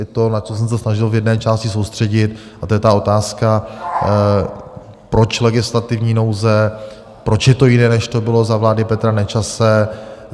Je to, na co jsem se snažil v jedné části soustředit, a to je ta otázka, proč legislativní nouze, proč je to jiné, než to bylo za vlády Petra Nečase.